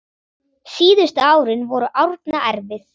Síðustu árin voru Árna erfið.